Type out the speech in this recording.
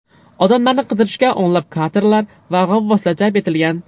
Odamlarni qidirishga o‘nlab katerlar va g‘avvoslar jalb etilgan.